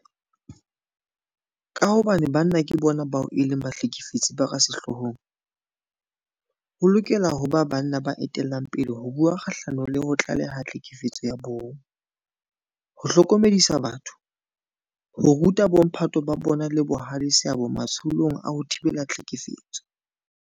Ka hobane banna ke bona bao e leng bahlekefetsi ba ka sehloohong, ho lokela ho ba banna ba etellang pele ho bua kgahlano le ho tlaleha tlhekefetso ya bong, ho hlokomedisa batho, ho ruta bomphato ba bona le bohale seabo matsholong a ho thibela tlhekefetso.